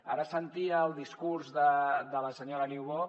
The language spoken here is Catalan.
ara sentia el discurs de la senyora niubó